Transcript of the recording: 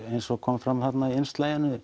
eins og kom fram þarna í